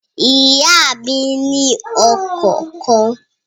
Ìyá mí ni ọkọ̀ kan